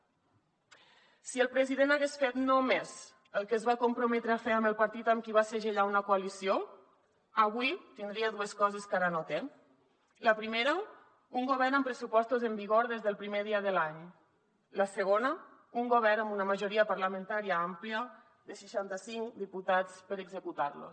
si el president hagués fet només el que es va comprometre a fer amb el partit amb qui va segellar una coalició avui tindria dues coses que ara no té la primera un govern amb pressupostos en vigor des del primer dia de l’any la segona un govern amb una majoria parlamentària àmplia de seixanta cinc diputats per executar los